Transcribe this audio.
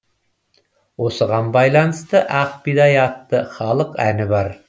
осыған байланысты ақ бидай атты халық әні бар